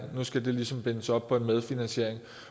nu skal det ligesom bindes op på en medfinansiering